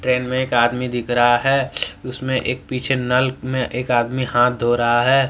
Train में एक आदमी दिख रहा है उसमें एक पीछे नल में एक आदमी हाथ धो रहा है।